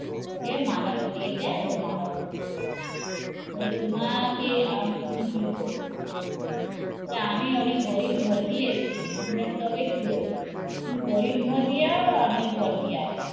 ওকে মালা পরিয়ে দেয় ও ওকে মালা পরিয়ে দেয় তোমাকে আমি কি বলবো আমি অনেক গরিব ঘর দিয়ে, গরিব ঘর দিয়ে তো কি হয়েছ